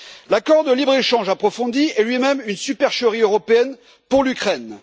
L'accord de libre échange approfondi est lui même une supercherie européenne pour l'Ukraine.